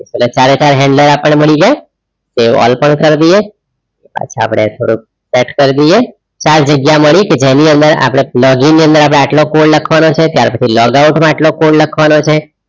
એટલે ચારે ચાર handler આપણ ને મળી જાય તે all પર કરી દિયે પાછા આપણે થોડુંક સેટ કર દિયે ચાર જગ્યા મળી કે જેની અંદર આપડે login ની અંદર આપડે એટલો code લખવાનો છે ત્યાર પછી log out માં એટલો code લખવાનો છે